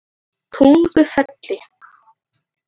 Tungufelli